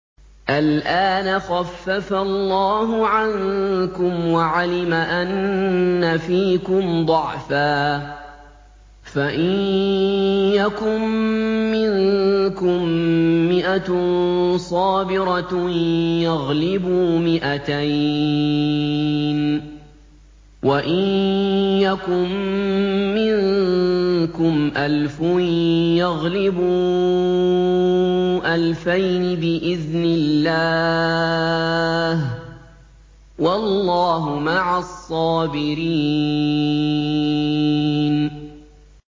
الْآنَ خَفَّفَ اللَّهُ عَنكُمْ وَعَلِمَ أَنَّ فِيكُمْ ضَعْفًا ۚ فَإِن يَكُن مِّنكُم مِّائَةٌ صَابِرَةٌ يَغْلِبُوا مِائَتَيْنِ ۚ وَإِن يَكُن مِّنكُمْ أَلْفٌ يَغْلِبُوا أَلْفَيْنِ بِإِذْنِ اللَّهِ ۗ وَاللَّهُ مَعَ الصَّابِرِينَ